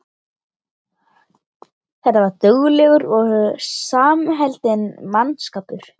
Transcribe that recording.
Þetta var duglegur og samheldinn mannskapur.